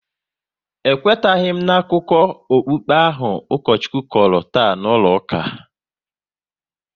E kwetaghi m akụkọ okpukpe ahụ Ukochukwu kọrọ taa n'ụlọ ụka